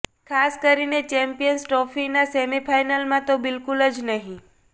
ખાસ કરીને ચેમ્પિયંસ ટ્રોફીના સેમીફાઈનલમાં તો બિલકુલ જ નહી